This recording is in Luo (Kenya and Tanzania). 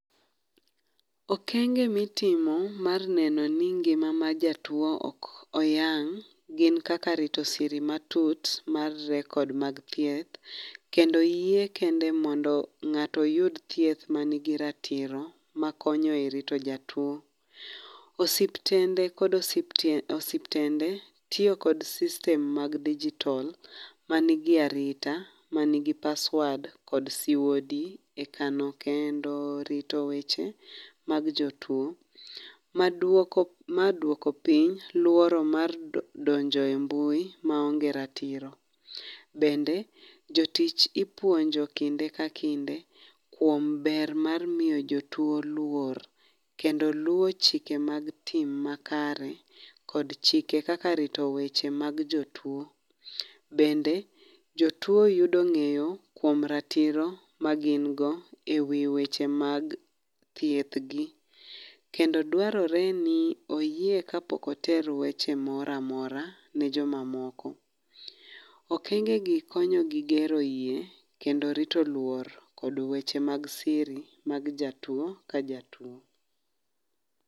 Okenge mitimo mar neno ni ngima mar jatuo ok oyang' gin kaka rito siri ma tut mar record mag thieth, kendo oyie kende mondo ng’ato oyud thieth manigi ratiro makonyo e rito jatuo. Osiptende kod Osiptende tiyo kod system mag digital manigi arita manigi password kod siwodi ekano kendo rito weche mad jotuo, maduoko maduoko piny luoro mar donjo e mbui maonge ratiro. Bende jotich ipuonjo kinde ka kinde kuom ber mar miyo jotuo luor. Kendo luo chike mag team makare Kod chike kaka rito wenche mag jotuo. Bende jotuo yudo ng’eyo kuom ratiro ma gingo e wi weche mag thieth gi. Kendo dwarore ni oyie kapok oter weche moramora ne jomamoko. Okenge gi konyo gi gero yie kendo rito luor kod weche mag siri mag jatuo ka jatuo.